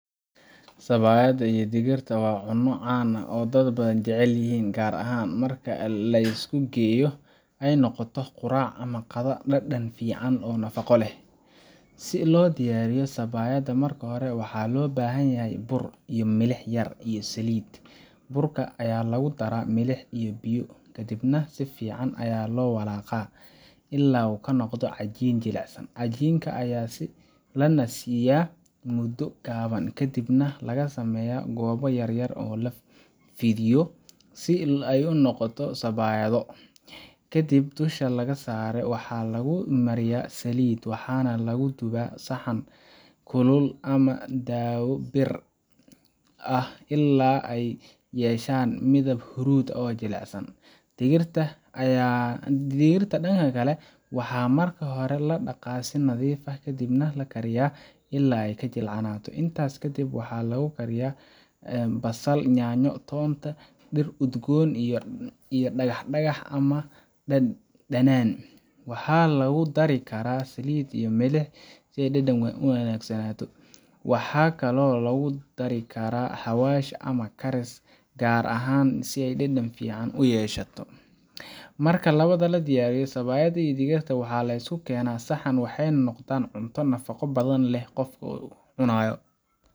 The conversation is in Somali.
Sabaayadda iyo digirta waa cunno caan ah oo dad badan jecel yihiin, gaar ahaan marka la isu geeyo ay noqoto quraac ama qadada dhadhan fiican leh oo nafaqo leh. Si loo diyaariyo sabaayadda, marka hore waxaa loo baahan yahay bur, biyo, milix yar, iyo saliid. Burka ayaa lagu daraa milix iyo biyo, kadibna si fiican ayaa loo walaaqaa ilaa uu noqdo cajiin jilicsan. Cajiinka ayaa la nasiiyaa muddo gaaban, kadibna laga sameeyaa goobo yaryar oo la fidiyo si ay u noqoto sabaayado. Kadib, dusha sare waxaa lagu mariyaa saliid, waxaana lagu dubaa saxan kulul ama daawo bir ah ilaa ay ka yeeshaan midab huruud ah oo jilicsan. Digirta dhanka kale, waxaa marka hore la dhaqaa si nadiif ah, kadibna la kariyaa ilaa ay jilcanato. Intaas kadib, waxaa lagu karin karaa basal, yaanyo, toonta, iyo dhir udgoon sida dhagax dhagax ama dhanaan. Waxaa lagu dari karaa saliid iyo milix si dhadhanka u wanaagsanaado. Waxaa kaloo lagu dari karaa xawaash ama karis gaar ah si ay dhadhan fiican u yeeshato. Marka labadaas la diyaariyo, sabaayadda iyo digirta waxaa la isugu keenaa saxan, waxayna noqdaan cunto nafaqo badan oo qofka ucanaayo